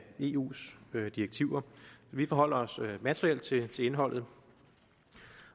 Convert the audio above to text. eus direktiver vi forholder os materielt til til indholdet